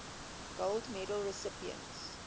gold medal recipients